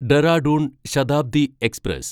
Dehradun Shatabdi express